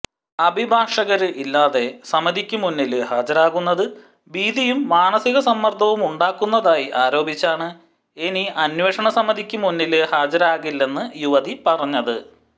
അഭിഭാഷകര് ഇല്ലാതെ സമിതിക്ക് മുന്നില് ഹാജരാകുന്നത് ഭീതിയും മാനസിക സമ്മര്ദ്ദവുമുണ്ടാക്കുന്നതായി ആരോപിച്ചാണ് ഇനി അന്വേഷണസമിതിക്ക് മുന്നില് ഹാജരാകില്ലെന്ന് യുവതി പറഞ്ഞത്